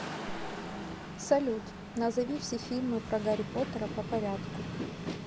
салют назови все фильмы про гарри поттера по порядку